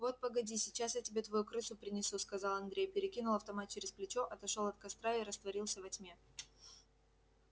вот погоди сейчас я тебе твою крысу принесу сказал андрей перекинул автомат через плечо отошёл от костра и растворился во тьме